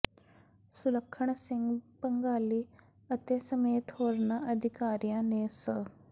ਸੁਲੱਖਣ ਸਿੰਘ ਭੰਗਾਲੀ ਅਤੇ ਸਮੇਤ ਹੋਰਨਾਂ ਅਧਿਕਾਰੀਆਂ ਨੇ ਸ